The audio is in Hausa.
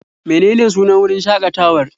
Menene sunan wurin shaƙatawar?